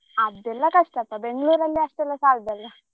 ಅದೆಲ್ಲಾ ಕಷ್ಟಪ್ಪಾ Bangalore ಅಲ್ಲಿ ಅಷ್ಟೆಲ್ಲಾ ಸಾಲದಲ್ಲಾ.